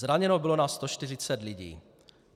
Zraněno bylo na 140 lidí.